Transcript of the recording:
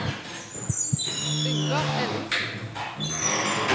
Yngvar Ellingsen